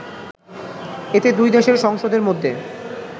এতে দুই দেশের সংসদের মধ্যে